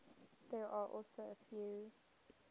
there are also a few